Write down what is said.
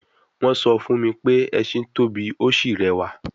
Wọ́n sọ fún mi pé ẹṣin tóbi, ó sì rẹwà